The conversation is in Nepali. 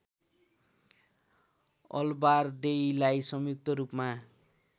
अलबारदेईलाई संयुक्त रूपमा